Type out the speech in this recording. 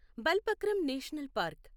Balphakram national park